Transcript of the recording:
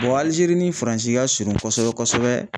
Alizeri ni Faranzi ka surun kosɛbɛ kosɛbɛ.